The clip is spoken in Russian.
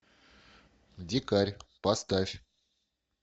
дикарь поставь